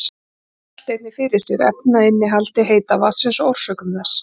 Gunnar velti einnig fyrir sér efnainnihaldi heita vatnsins og orsökum þess.